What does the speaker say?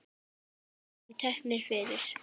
Þeir voru teknir fyrir.